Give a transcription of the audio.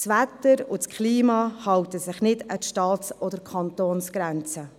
Das Wetter und das Klima halten sich nicht an die Staats- oder Kantonsgrenzen.